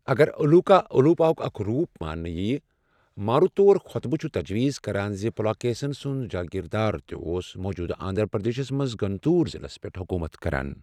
اگر الوُکا الوُپا ہُک اکھ روُپ مانٛنہٕ ییہ، ماروتوُرا خۄطبہٕ چھُ تجویز کران زِ پُلاکیسن سُنٛد جٲگیردار تہِ اوس موُجُودٕ آندھر پردیشس منز گُنٹوُر ضِلس پیٹھ حکومت کران ۔